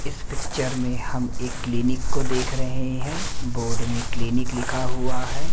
इस पिक्चर में हम क्लिनिक को देख रहे हैं बोर्ड में क्लिनिक लिखा हुआ है।